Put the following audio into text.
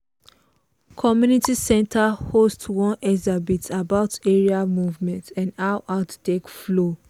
community center host one exhibit about area movement and how art take follow.